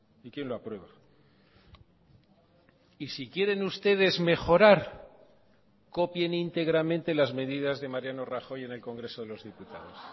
y quién lo aprueba y si quieren ustedes mejorar copien íntegramente las medidas de mariano rajoy en el congreso de los diputados